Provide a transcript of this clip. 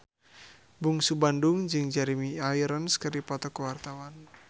Bungsu Bandung jeung Jeremy Irons keur dipoto ku wartawan